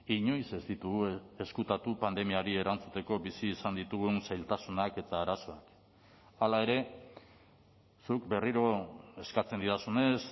inoiz ez ditugu ezkutatu pandemiari erantzuteko bizi izan ditugun zailtasunak eta arazoak hala ere zuk berriro eskatzen didazunez